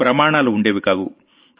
standards ఉండేవి కావు